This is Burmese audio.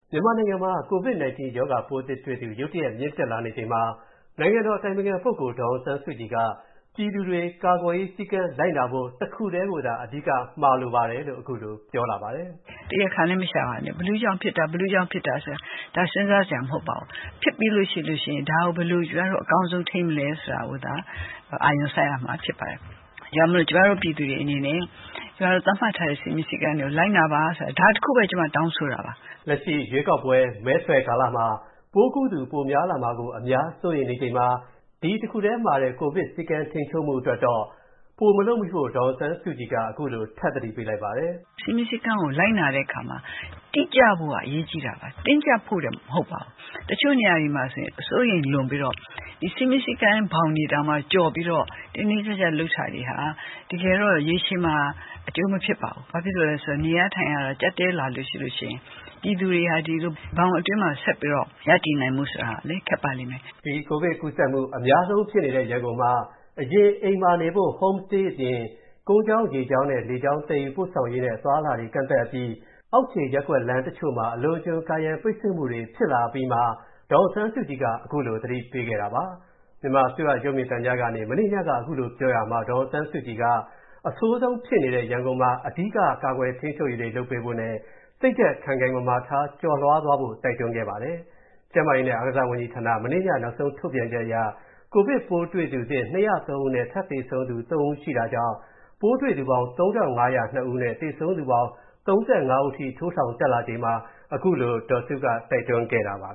မြန်မာနိုင်ငံမှာ COVID-19 ရောဂါပိုးသစ်တွေ့သူ ရုတ်တရက်မြင့်တက်လာနေချိန်မှာ နိုင်ငံတော်အတိုင်ပင်ခံပုဂ္ဂိုလ် ဒေါ်အောင်ဆန်းစုကြည်က၊ ပြည်သူတွေ ကာကွယ်ရေး စည်းကမ်း လိုက်နာဖို့ တစ်ခုထဲကိုသာ အဓိကမှာလိုကြောင်း အင်္ဂါနေ့ညက တိုင်းပြည်ကို ပြောကြားတဲ့ မိန့်ခွန်းအတွင်း ထည့်သွင်း ပြောကြားခဲ့ပါတယ်။ “တရားခံလည်း မရှာပါနဲ့။ ဘယ်သူ့ကြောင့်ဖြစ်တာဆိုတာ ဒါက စဉ်းစားစရာမဟုတ်ပါဘူး။ ဖြစ်ပြီးလို့ရှိရင် ဒါကို ကျမတို့ အကောင်းဆုံးထိန်းမလဲဆိုတာကို အာရုံစိုက်ရမှာဖြစ်ပါတယ်။ ဒါကြောင့်မို့ ကျမတို့ ပြည်သူတွေအနေနဲ့ ကျမတို့ သတ်မှတ်ထားတဲ့ စည်းမျဉ်းစည်းကမ်းတွေကို လိုက်နာပါ ဒါတခုပဲ ကျမတောင်းဆိုတာပါ။” လက်ရှိရွေးကောက်ပွဲမဲဆွယ်ကာလမှာ ပိုးကူးသူပိုများလာမှာ အများစိုးရိမ်နေချိန်မှာ၊ ဒီ တစ်ခုထဲမှာ ကိုဗစ်စည်းကမ်းထိန်းချုပ်မူအတွက်တော့ ပိုမလုပ်မိဖို့ ဒေါ်အောင်ဆန်းစုကြည်က ခုလိုထပ်သတိပေးလိုက်ပါတယ်။ “စည်းမျဉ်းစည်းကမ်းတွေကို လိုက်နာတဲ့အခါမှာ တိကျဖို့က အရေးကြီးပါတယ်။ တင်းကျပ်ဖို့လည်း မဟုတ်ပါဘူး။ တချို့နေရာမှာတွေ အစိုးရိမ်လွန်ပြီးတော့ စည်းမျဉ်းစည်းကမ်းဘောင်တွေကို ကျော်ပြီးတော့ တင်းတင်းကျပ်ကျပ် လုပ်တာတွေဟာ တကယ်တော့ ရေရှည်မှာ အကျိုးမဖြစ်ပါဘူး။ ဘာဖြစ်လို့လဲဆိုတော့ နေရထိုင်ရတာ ကျပ်တည်းလာရင် ပြည်သူတွေဟာ ဒီလိုဘောင်အတွင်းမှာ ဆက်ပြီးတော့ ရပ်တည်နိုင်ဖို့ဆိုတာ ခက်ပါလိမ့်မယ်။” ကိုဗစ်ကူးစက်မူ အများဆုံးဖြစ်နေတဲ့ ရန်ကုန်မှာ အရင် အိမ်မှာနေဖို့ (Home Stay) အမိန့် ထုတ်ပြန်ထားတာအပြင်၊ ကုန်းကြောင်း၊ ရေကြောင်းနဲ့ လေကြောင်း သယ်ယူပို့ဆောင်ရေးနဲ့ အသွားအလာတွေကန့်သတ်အပြီး၊ အောက်ခြေရပ်ကွက်လမ်းတချို့မှာ အလွန်အကျွံ ကာရံပိတ်ဆို့မူတွေဖြစ်လာအပြီးမှာ ဒေါ်အောင်ဆန်းစုကြည်က ခုလိုသတိပေးခဲ့တာပါ။ မြန်မာအစိုးရရုပ်မြင်သံကြားကနေ မနေ့ညက ခုလိုပြောရာမှာ ဒေါ်အောင်ဆန်းစုကြည်က အဆိုးဆုံးဖြစ်နေတဲ့ ရန်ကုန်မှာ အဓိက ကာကွယ်ထိန်းချုပ်ရေးတွေလုပ်ပေးဖို့နဲ့ စိတ်ဓာတ်ခိုင်ခိုင်မာမာထား ကျော်လွှားဖို့ တိုက်တွန်းခဲ့ပါတယ်။ ကျန်းမာရေးနဲ့အားကစားဝန်ကြီးဌာန မနေ့ညနောက်ဆုံးထုတ်ပြန်ချက်အရ ကိုဗစ်ပိုးတွေ့သူသစ် ၂၀၃ ဦးနဲ့ ထပ်သေဆုံးသူ ၃ ဦးရှိတာကြောင့် ပိုးတွေ့သူပေါင်း ၃၅၀၂ ဦးနဲ့ သေဆုံးသူပေါင်း ၃၅ ဦးအထိ၊ ထိုးထောင်တက်လာချိန်မှာ ခုလိုတိုက်တွန်းခဲ့တာပါ